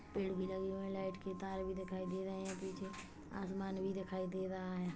Paid भी लगे हुए हैं लाइट के तार भी दिखाई दे रहे है पीछे आसमान भी दिखाई दे रहा है।